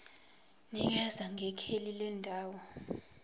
nikeza ngekheli lendawo